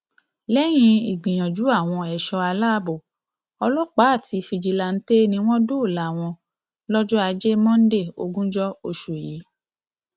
lẹyìn ìgbìyànjú àwọn ẹṣọ aláàbọ ọlọpàá àti fíjìláńtẹ ni wọn dóòlà wọn lọjọ ajé monde ogúnjọ oṣù yìí